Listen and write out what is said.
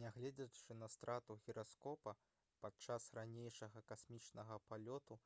нягледзячы на страту гіраскопа падчас ранейшага касмічнага палёту